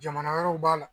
Jamana wɛrɛw b'a la